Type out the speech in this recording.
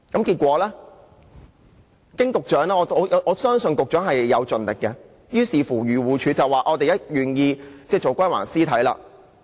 結果，經局長調解——我相信局長已盡力——漁護署表示願意早日歸還狗屍體給飼主。